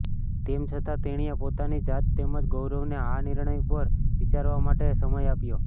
તેમ છતાં તેણીએ પોતાની જાત તેમજ ગૌરવને આ નિર્ણય પર વિચારવા માટે સમય આપ્યો